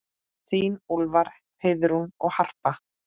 Þín Úlfar, Heiðrún og Harpa.